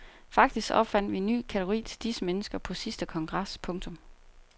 Faktisk opfandt vi en ny kategori til disse mennesker på sidste kongres. punktum